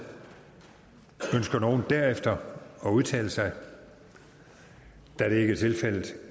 ønsker nogen derefter at udtale sig da det ikke er tilfældet